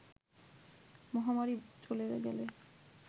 মহামারি চলে গেলে